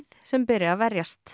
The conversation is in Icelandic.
sem beri að verjast